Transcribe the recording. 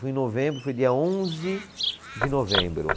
Foi em novembro, foi dia onze de novembro